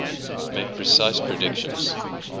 make precise predictions